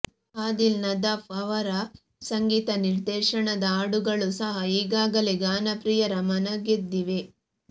ಆದಿಲ್ ನದಾಫ್ ಅವರ ಸಂಗೀತ ನಿರ್ದೇಶನದ ಹಾಡುಗಳು ಸಹ ಈಗಾಗಲೇ ಗಾನಪ್ರಿಯರ ಮನಗೆದ್ದಿವೆ